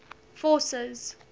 forces